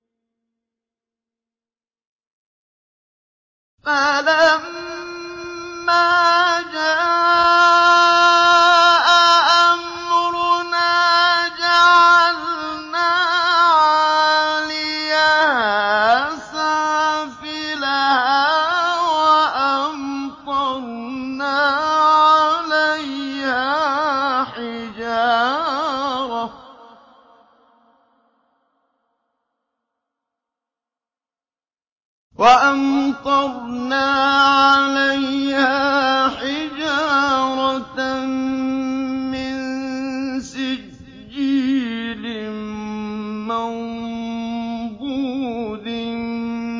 فَلَمَّا جَاءَ أَمْرُنَا جَعَلْنَا عَالِيَهَا سَافِلَهَا وَأَمْطَرْنَا عَلَيْهَا حِجَارَةً مِّن سِجِّيلٍ مَّنضُودٍ